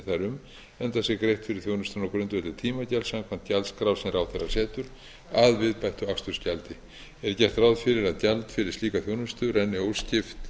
um enda sér greitt fyrir þjónustuna á grundvelli tímagjalds samkvæmt gjaldskrá sem ráðherra setur að viðbættu akstursgjaldi er gert ráð fyrir að gjald fyrir slíka þjónustu renni óskipt